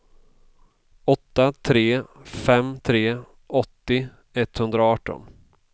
åtta tre fem tre åttio etthundraarton